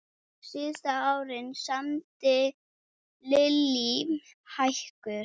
Síðustu árin samdi Lillý hækur.